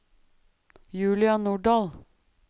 Julia Nordahl